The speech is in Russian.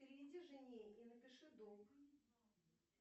переведи жене и напиши долг